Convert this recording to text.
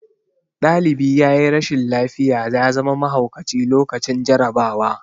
Ɗalibi yayi rashin lafiya ya zama mahaukaci lokacin jarabawa